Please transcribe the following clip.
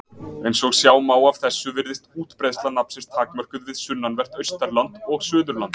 Eins og sjá má af þessu virðist útbreiðsla nafnsins takmörkuð við sunnanvert Austurland og Suðurland.